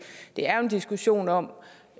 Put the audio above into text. er jo en diskussion om